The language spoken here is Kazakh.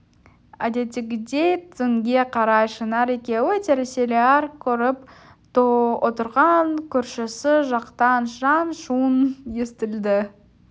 әдеттегідей түнге қарай шынар екеуі телесериал көріп отырған көршісі жақтан шаң-шұң естілді